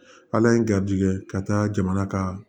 Ala ye garijɛgɛ ka taa jamana ka